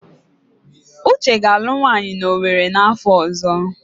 Uche ga-alụ nwaanyị na Owerri n'afọ ọzọ.